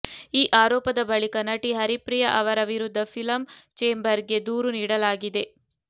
ಈ ಆರೋಪದ ಬಳಿಕ ನಟಿ ಹರಿಪ್ರಿಯಾ ಅವರ ವಿರುದ್ಧ ಫಿಲಂ ಚೇಂಬರ್ ಗೆ ದೂರು ನೀಡಲಾಗಿದೆ